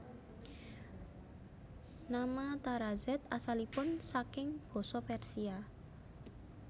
Nama Tarazed asalipun saking basa Persia